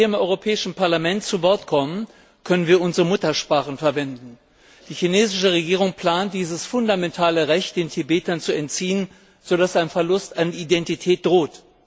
Wenn wir hier im Europäischen Parlament zu Wort kommen, können wir unsere Muttersprachen verwenden. Die chinesische Regierung plant, dieses fundamentale Recht den Tibetern zu entziehen, so dass ein Verlust an Identität droht.